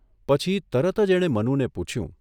પછી તરત જ એણે મનુને પૂછયું.